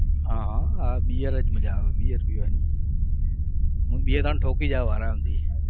હા હા bear જ મજા આવે bear પીવાની હું બે ત્રણ ઠોકી જાવ આરામથી.